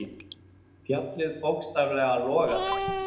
Fjallið bókstaflega logaði.